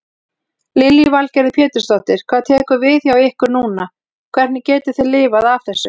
Lillý Valgerður Pétursdóttir: Hvað tekur við hjá ykkur núna, hvernig getið þið lifað af þessu?